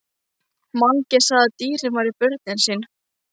Mangi sagði að dýrin væru börnin sín.